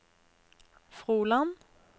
Froland